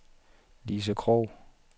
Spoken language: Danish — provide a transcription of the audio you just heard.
Lise Krogh